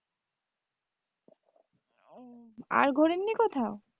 আর ঘোরেননি কোথাও?